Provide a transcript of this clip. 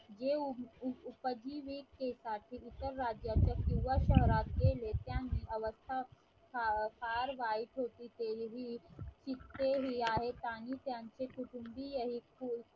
जे उपजीवी इतर राज्याचे किंवा शहराचे नेत्यांनी अवस्था फार वाईट होती तरीही तिथे हे आहेत आणि त्यांचे कुटुंबीय हे खूप